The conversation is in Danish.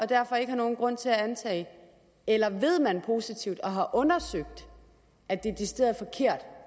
derfor ikke nogen grund til at antage det eller ved man positivt og har undersøgt at det